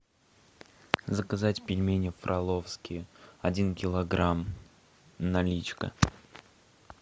заказать пельмени фроловские один килограмм наличка